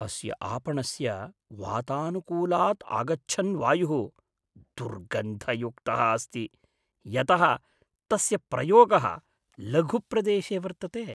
अस्य आपणस्य वातानुकूलाद् आगच्छन् वायुः दुर्गन्धयुक्तः अस्ति यतः तस्य प्रयोगः लघुप्रदेशे वर्तते।